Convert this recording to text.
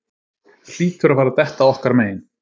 Hlýtur að fara detta okkar megin